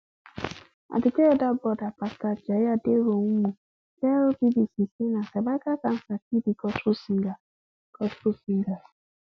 aduke elder broda pastor ajayi aderounmu tell bbc say na cervical cancer kill di gospel singer gospel singer